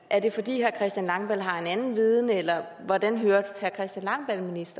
er det fordi herre christian langballe har en anden viden eller hvordan hørte herre christian langballe